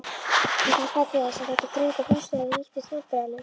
Hún hjálpaði til þess, að þetta þrönga húsnæði nýttist vandræðalaust.